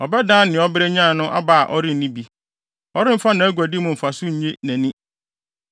Ɔbɛdan nea ɔbrɛ nyae no aba a ɔrenni bi; ɔremfa nʼaguadi mu mfaso nnye nʼani.